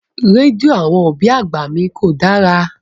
Rédíò àwọn òbí àgbà mi kò dára.